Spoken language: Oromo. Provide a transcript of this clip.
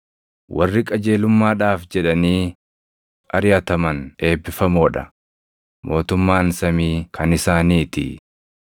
Warri qajeelummaadhaaf jedhanii ariʼataman eebbifamoo dha; mootummaan samii kan isaaniitii.